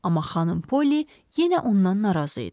Amma xanım Poli yenə ondan narazı idi.